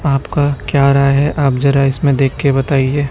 आपका क्या राय है आप जरा इसमें देख के बताइए।